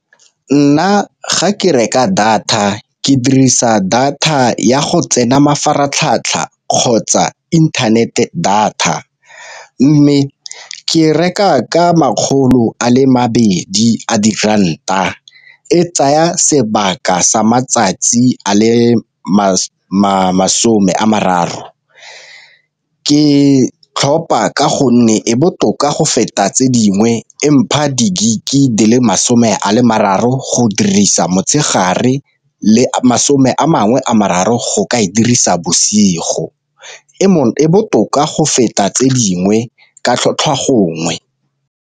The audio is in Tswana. Nna ga ke reka data ke dirisa data ya go tsena mafaratlhatlha kgotsa inthanete data, mme ke reka ka makgolo a le mabedi a di ranta, e tsaya sebaka sa matsatsi a le masome a mararo. Ke tlhopa ka gonne e botoka go feta tse dingwe e mpha di-gig di le masome a le mararo go dirisa motshegare le masome a mangwe a mararo go ka e dirisa bosigo. E botoka go feta tse dingwe ka tlhotlhwa gongwe.